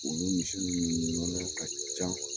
Olu misi ninnu nɔnɔ ka can